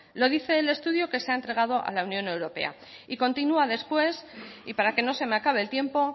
lo dice el estudio que se ha entregado a la unión europea y continúa después y para que no se me acabe el tiempo